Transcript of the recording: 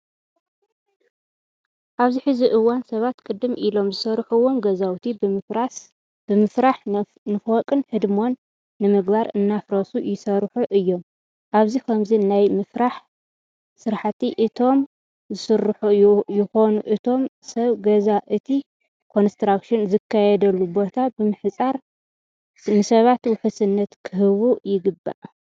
ኣብዚ ሕዚ እዋን ሰባት ቅድም ኢሎም ዝሰርሕዎም ገዛውቲ ብምፍራሕ ንፎቅን ህድምን ንምግባር እናፍረሱ ይሰርሑ እዮም። ኣብዚ ከምዚ ናይ ምፍራሕ ስራሕቲ እቶም ዝሰርሑ ይኹኑ እቶም ሰብ ገዛ እቲ ኮንስትራክሽን ዝካየደሉ ቦታ ብምሕፃር ንሰባት ውሕስነት ክህቡ ይግባእ።